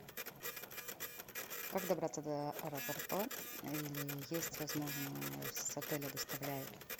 как добраться до аэропорта или есть возможно с отеля доставляют